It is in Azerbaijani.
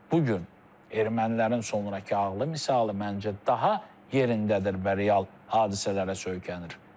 Bu gün ermənilərin sonrakı ağlı misalı məncə daha yerindədir və real hadisələrə söykənir.